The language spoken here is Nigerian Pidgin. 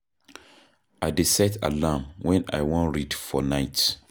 I dey set alarm wen I wan read for night.